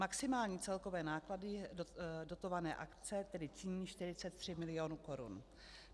Maximální celkové náklady dotované akce tedy činí 43 milionů korun.